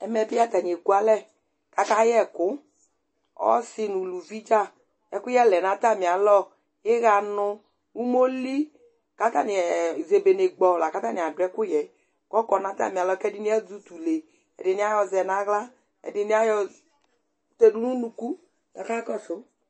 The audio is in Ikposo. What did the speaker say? ɛmɛ bi atani ɛkʋ alɛ kʋ aka yɛkʋ, ɔsii nʋ ʋlʋvi dza, ɛkʋyɛ lɛnʋ atami alɔ, iya nʋ ʋmɔli kʋ atani zɛbɛlɛ kpɔ kʋ atani adʋ ɛkʋyɛ kʋ ɔkɔ nʋ atami alɔ kʋ ɛdini azɛ ʋtʋlɛ ɛdiniayɔ zɛnʋ ala ɛdini ayɔ tɛdʋ nʋ ʋnʋkʋ kʋ aka kɔsʋ